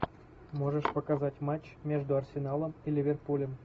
можешь показать матч между арсеналом и ливерпулем